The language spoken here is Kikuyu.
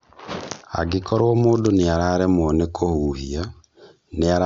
Angĩkorwo mũndũ nĩararemwo nĩ kũhũhia, nĩarabatara ũteithio wa naihenya.